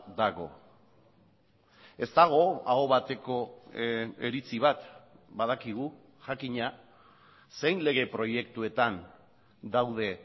dago ez dago aho bateko iritzi bat badakigu jakina zein lege proiektuetan daude